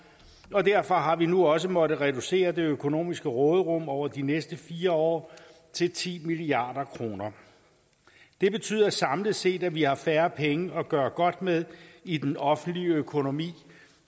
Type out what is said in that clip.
og derfor har vi nu også måttet reducere det økonomiske råderum over de næste fire år til ti milliard kroner det betyder samlet set at vi har færre penge at gøre godt med i den offentlige økonomi